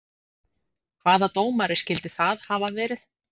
Hvaða dómari skyldi það hafa verið?